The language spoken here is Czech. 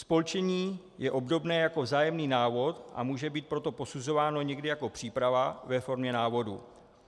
Spolčení je obdobné jako vzájemný návod, a může být proto posuzováno někdy jako příprava ve formě návodu.